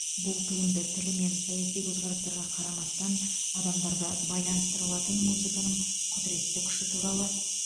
бұл туынды тілі мен саяси көзқарастарға қарамастан адамдарды байланыстыра алатын музыканың құдыретті күші туралы